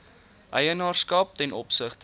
eienaarskap ten opsigte